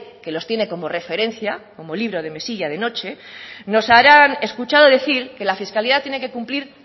que los tiene como referencia como libro de mesilla de noche nos habrán escuchado decir que la fiscalidad tiene que cumplir